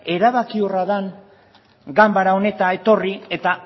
erabakiorra den ganbara honetara etorri eta